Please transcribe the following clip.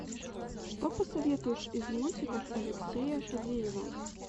что посоветуешь из мультиков алексея фадеева